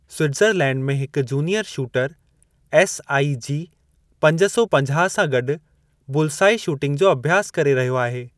Switzerland में हिकु junior shooter SIG पंज सौ पंजाह सां गॾु बुलसाई शूटिंग जो अभ्यासु करे रहियो आहे।